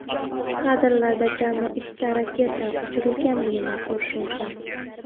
Kadrlarda jami ikkita raketa uchirilganini ko‘rish mumkin.